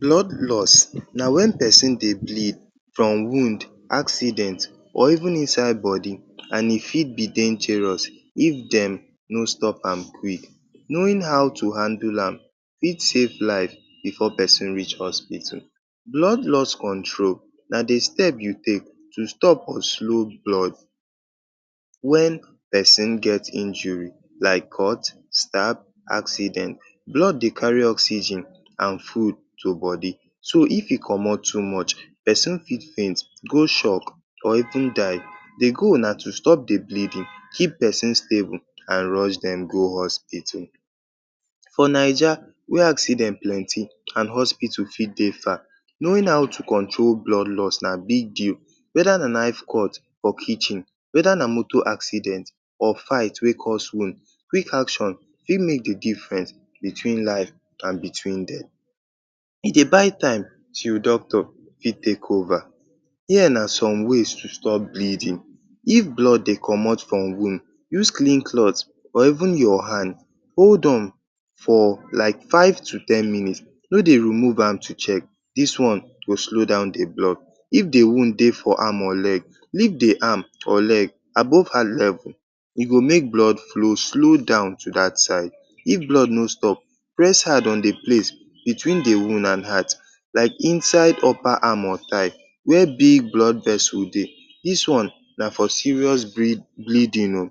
Blood loss na wen pesin dey bleed from wound, accident or even inside body and e fit be dangerous if dem no stop am quick. Knowing how to handle am fit save life bifor pesin reach hospital. Blood loss control na di step wey you take to stop or slow blood wen pesin get injury like cut, stab, accident. Blood dey carry oxygen and food to body so if e comot too much, pesin fit faint, go shock or even die. Di goal na to stop di bleeding, keep pesin stable and rush dem go hospital. For Naija wey accident plenty and hospital fit dey far, knowing how to control blood loss na big deal weda na knife cut for kitchen, weda na moto accident or fight wey cause wound. Quick action fit make di diffrence between life and between dem. E dey buy time till your doctor fit take over. If blood dey comot from wound, use clean cloth or even your hand hold am for like five to ten minutes. No dey remove am to check. Dis one go slow down di blood. If di wound dey for arm or leg, lift di arm or leg above hand level. E go make blood flow slow down to dat side. If blood no stop, press hard on di place between di wound and heart like inside upper arm or thigh wey big blood vessel dey. Dis one na for serious bring-bleeding o.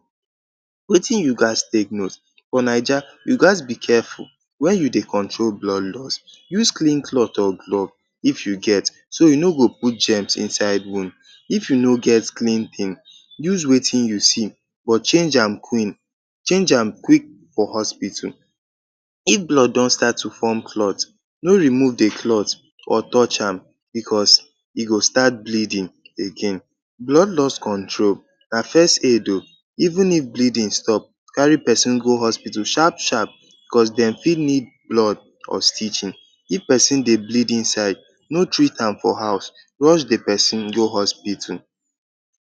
Wetin you gats take note for Naija: you go just be careful wen you dey control blood loss. Use clean cloth or somtin wey clean if you get, so e no go put germs inside wound. If you no get clean tin, use wetin you see but change am quin change am quick for hospital. If blood don start to form clot, no remove di clot or touch am bicos e go start bleeding again. Blood loss control na first aid o. Even if bleeding stop, carry pesin go hospital sharp sharp bicos dem fit need blood or stitching. If pesin dey bleed inside, no treat am for house, rush di pesin go hospital.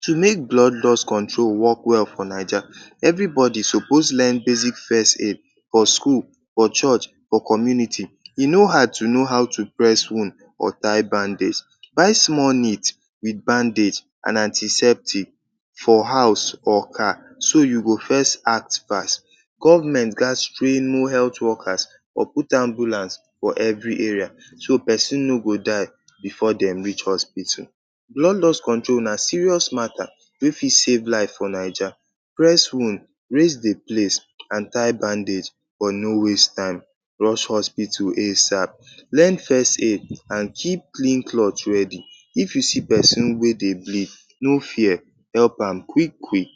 To make blood loss control wok well for Naija, evribodi suppose learn basic first aid for school, for church, or community. E no hard to know how to press wound or tie bandage. Buy small kit wit bandage and antiseptic for house or car so you go first act fast. Government gats train more health workers or put ambulance for evri area so pesin no go die bifor dem reach hospital. Blood loss control na serious matta wey fit save life for Naija. Press wound, raise di place and tie bandage but no waste time. Rush hospital asap. Learn first aid and keep clean cloth ready. If you see pesin wey dey bleed, no fear, help am quick quick.